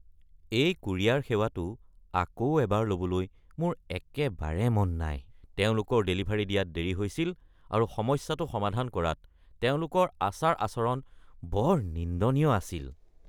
এই কোৰিয়াৰ সেৱাটো আকৌ এবাৰ ল’বলৈ মোৰ একেবাৰে মন নাই। তেওঁলোকৰ ডেলিভাৰী দিয়াত দেৰি হৈছিল আৰু সমস্যাটো সমাধান কৰাত তেওঁলোকৰ আচাৰ-আচৰণ বৰ নিন্দনীয় আছিল।